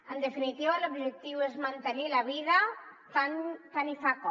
en definitiva l’objectiu és mantenir la vida tant se val com